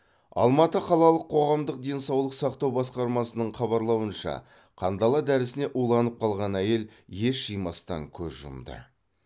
алматы қалалық қоғамдық денсаулық сақтау басқармасының хабарлауынша қандала дәрісіне уланып қалған әйел ес жимастан көз жұмды